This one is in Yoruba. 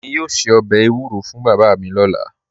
Èmi yoo ṣẹ̀ ọbẹ̀ ewuro fún baba mi lọla